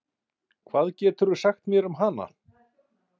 Hvað geturðu sagt mér um hana?